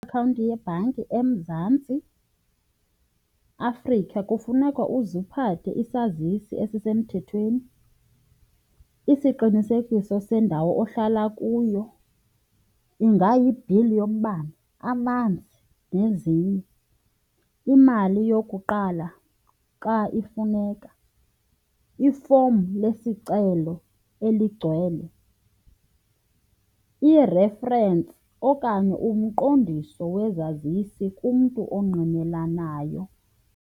Iakhawunti yebhanki eMzantsi Afrika kufuneka uze uphathe isazisi esisemthethweni, isiqinisekiso sendawo ohlala kuyo, ingayi-bill yombane amanzi nezinye. Imali yokuqala xa ifuneka, ifomu lesicelo eligcwele, i-reference okanye umqondiso wezazisi kumntu ongqinelanayo.